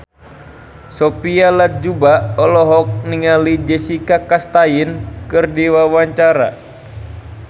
Sophia Latjuba olohok ningali Jessica Chastain keur diwawancara